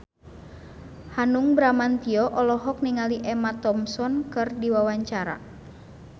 Hanung Bramantyo olohok ningali Emma Thompson keur diwawancara